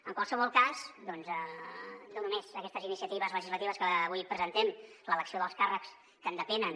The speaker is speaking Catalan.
en qualsevol cas doncs no només aquestes iniciatives legislatives que avui presentem l’elecció dels càrrecs que en depenen